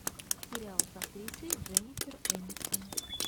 сериал с актрисой дженнифер энистон